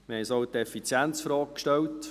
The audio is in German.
Wir haben uns auch die Effizienzfrage gestellt.